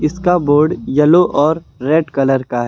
इसका board yellow और red colour का है।